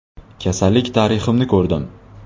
“Kasallik tariximni ko‘rdim.